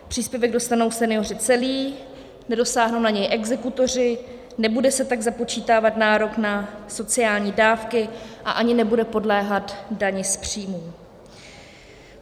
Příspěvek dostanou senioři celý, nedosáhnou na něj exekutoři, nebude se tak započítávat nárok na sociální dávky a ani nebude podléhat dani z příjmů.